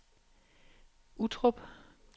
Uttrup